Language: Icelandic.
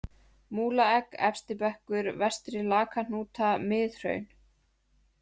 Múlaegg, Efstibekkur, Vestri-Lakahnúta, Miðhraun